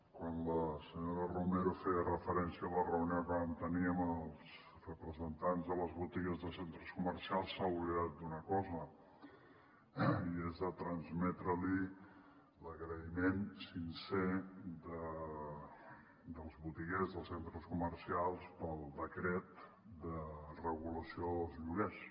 quan la senyora romero feia referència a la reunió que vam tenir amb els representants de les botigues de centres comercials s’ha oblidat d’una cosa i és de transmetre li l’agraïment sincer dels botiguers els centres comercials pel decret de regulació dels lloguers